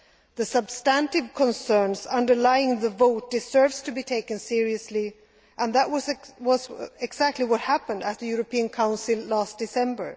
The substantive concerns underlying the vote deserve to be taken seriously and that was exactly what happened at the European Council last December.